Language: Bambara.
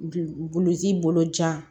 Bi buluji bolo jan